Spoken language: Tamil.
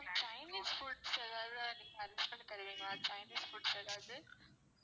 ma'am chinese foods எதாவது நீங்க arrange பண்ணி தருவீங்களா chinese foods எதாவது